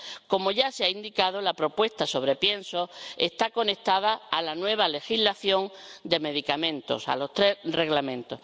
Como ya se ha indicado, la propuesta sobre piensos está conectada a la nueva legislación de medicamentos, a los tres Reglamentos.